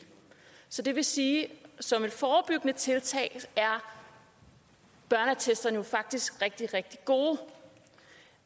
så det vil sige at som et forebyggende tiltag er børneattesterne jo faktisk rigtig rigtig gode